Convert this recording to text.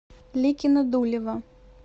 ликино дулево